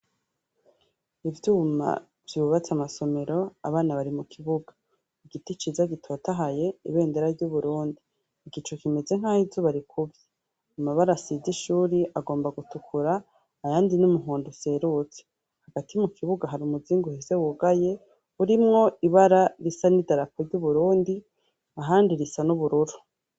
Ivyuma vyubatse amasomero, abana bari mu kibuga, igiti ciza gitotahaye, ibendera ry'Uburundi, igicu kimeze nk'aho izuba rikuvye, amabara asize ishuri agomba gutukura ayandi n'umuhondo userutse, hagati mu kibuga hari umuzingi uhese wugaye urimwo ibara risa n'idarapo ry'Uburundi ahandi risa n'ubururu.